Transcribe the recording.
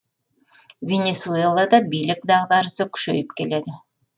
венесуэлада билік дағдарысы күшейіп келеді